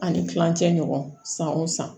Ani kilancɛ ɲɔgɔn san o san